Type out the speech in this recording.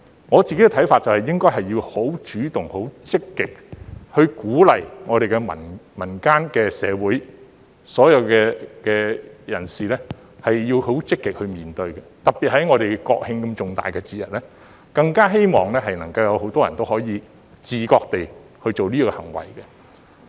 我自己的看法是應該很主動、很積極地鼓勵民間社會的所有人士也要積極地面對，特別在國慶這麼重大的節日，更希望能夠有很多人也會自覺地做這行為。